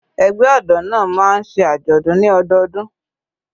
Ẹgbẹ́ ọ̀dọ́ náà máa ń ṣe àjọ̀dún ní ọdọọdún.